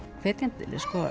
hvetjandi